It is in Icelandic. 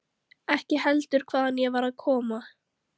Ekki heldur hvaðan ég var að koma.